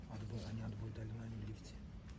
Axı niyə dalına duruşulmayıb ki?